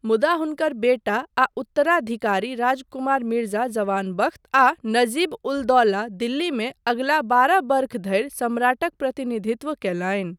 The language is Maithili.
मुदा हुनकर बेटा आ उत्तराधिकारी राजकुमार मिर्जा जवान बख्त आ नजीब उल दौला दिल्लीमे अगिला बारह वर्ष धरि सम्राटक प्रतिनिधित्व कयलनि।